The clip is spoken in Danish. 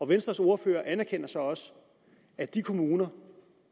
venstres ordfører anerkender så også at de kommuner